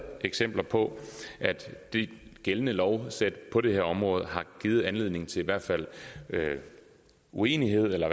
eksempler på at det gældende lovsæt på det her område har givet anledning til uenighed eller